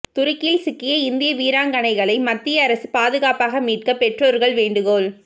துருக்கியில் சிக்கிய இந்திய வீராங்கனைகளை மத்திய அரசு பாதுகாப்பாக மீட்க பெற்றோர்கள் வேண்டுகோள்